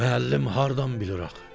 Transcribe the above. Müəllim hardan bilir axı?